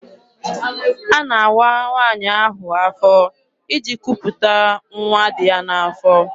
A na-awa nwaanyị ahụ afọ iji kwuputa nwa dị ya n'afọ.